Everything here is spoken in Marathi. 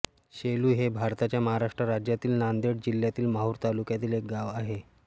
सेलु हे भारताच्या महाराष्ट्र राज्यातील नांदेड जिल्ह्यातील माहूर तालुक्यातील एक गाव आहे